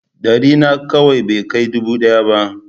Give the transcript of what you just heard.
Ɗari nakwai bai kai dubu ɗaya ba.